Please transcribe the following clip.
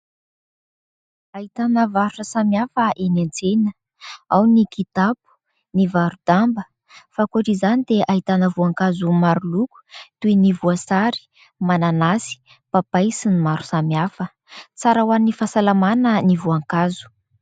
Ahitana varotra samihafa eny an-tsena. Ao ny kitapo, ny varo-damba, fa ankoatra izany dia ahitana voankazo maro loko toy ny voasary, mananasy, papay sy ny maro samihafa. Tsara ho an'ny fahasalamana ny voankazo.